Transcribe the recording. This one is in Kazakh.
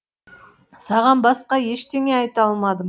саған басқа ештеңе айта алмадым